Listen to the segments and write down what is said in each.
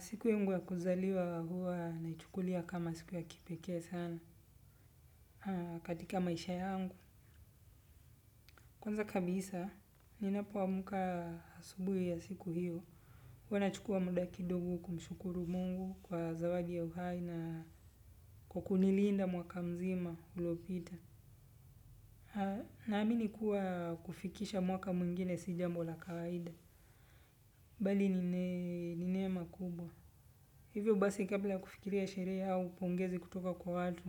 Siku yangu ya kuzaliwa huwa naichukulia kama siku ya kipeke sana katika maisha yangu. Kwanza kabisa, ninapwamuka asubuhi ya siku hiyo. Huwa nachukua muda ki dogo kumshukuru mungu kwa zawadi ya uhai na kukuniliinda mwaka mzima ulopita. Naami ni kuwa kufikisha mwaka muingine sijambo la kawaida. Bali ni nehema kubwa. Hivyo basi kabla kufikiri ya sheree au pongezi kutoka kwa watu.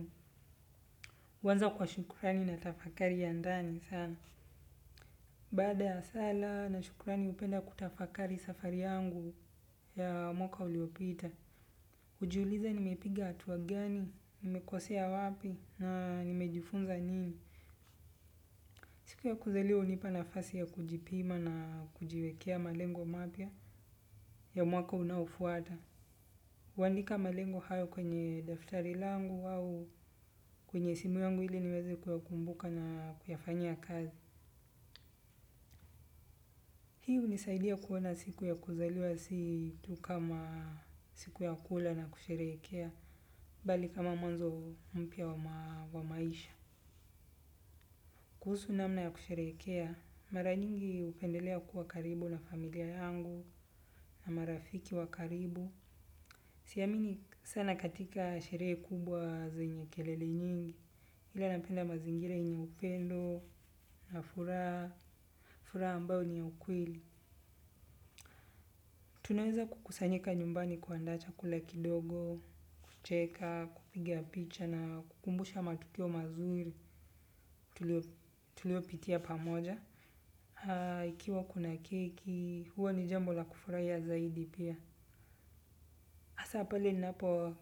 Wanza kwa shukurani na tafakari ya ndani sana. Bada ya sala na shukurani upenda kutafakari safari yangu ya mwaka uliopita. Ujiuliza nimepiga atuwa gani, nimekosea wapi na nimejifunza nini. Siku ya kuzaliwa unipa nafasi ya kujipima na kujiwekea malengo mapia ya mwaka unaofuata. Uwandika malengo hayo kwenye daftari langu au kwenye simu yangu hile niweze kuyakumbuka na kuyafanyia kazi. Hiu nisaidia kuona siku ya kuzaliwa situ kama siku ya kula na kusherekea, bali kama mwanzo mpia wa maisha. Kuhusu namna ya kusherekea, mara nyingi upendelea kuwa karibu na familia yangu na marafiki wa karibu. Siamini sana katika shere kubwa zenye kelele nyingi ila napenda mazingira yenye upendo na furaha furaha ambao ni wa ukweli. Tunaweza kukusanyika nyumbani kuanda chakula kidogo, kucheka, kupiga picha na kukumbusha matukio mazuri tulio pitia pamoja. Ikiwa kuna keki, huwa ni jambo la kufuraiya zaidi pia. Asa pale ninapo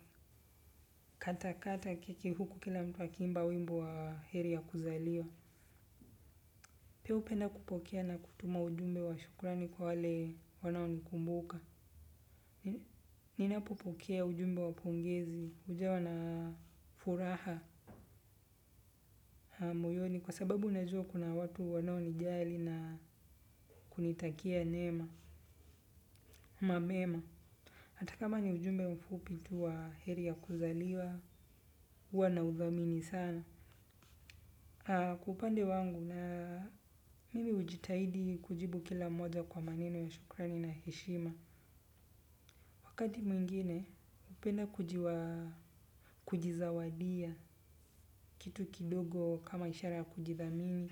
kata kata keki huku kila mtu akimba wimbo wa heri ya kuzaliwa. Pia upenda kupokea na kutuma ujumbe wa shukurani kwa wale wanao nikumbuka. Ninapo pokea ujumbe wa pongezi ujawa na furaha moyoni kwa sababu najua kuna watu wanaonijali na kunitakia nema, ama mema. Atakama ni ujumbe mfupi tu wa heri ya kuzaliwa, uwa na nauthamini sana. Kwa upande wangu na mimi hujitahidi kujibu kila mmoja kwa maneno ya shukrani na heshima. Wakati mwingine hupenda kujizawadia kitu kidogo kama ishara ya kujithamini.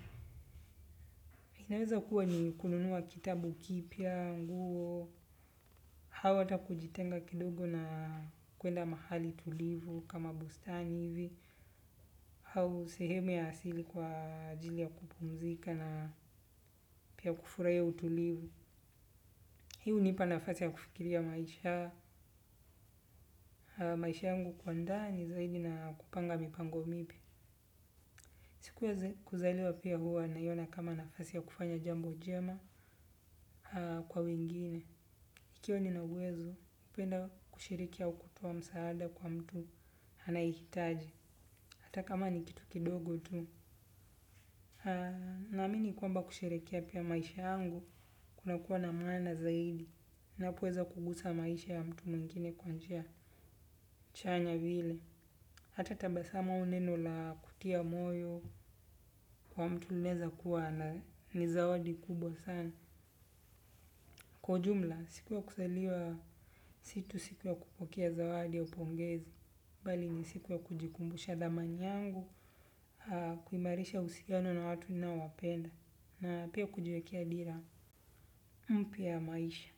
Inaweza kuwa ni kununua kitabu kipya, nguo, hau ata kujitenga kidogo na kwenda mahali tulivu kama bustani ivi. Hau sehemu ya asili kwa ajili ya kupumzika na pia kufuraia utulivu. Hii unipa nafasi ya kufikiria maisha. Maisha yangu kuandaa ni zaidi na kupanga mipango mipya. Siku yeze kuzaliwa pia huwa naiona kama nafasi ya kufanya jambo jema kwa wengine. Ikiwa nina uwezo, upenda kushiriki au kutoa msaada kwa mtu anayehitaji. Hata kama ni kitu kidogo tu. Naamini kwamba kusherekea pia maisha yangu kunakua na maana zaidi. Ninapoweza kugusa maisha ya mtu mwingine kwa njia. Chanya vile, hata tabasamu au neno la kutia moyo kwa mtu linaeza kuwa na ni zawadi kubwa sana. Kwa ujumla, siku ya kuzaliwa si tu siku ya kupokea zawadi au pongezi. Bali ni siku ya kujikumbusha thamani yangu, kuimarisha uusiano na watu ninaowapenda. Na pia kujiwekea dira mpya ya maisha.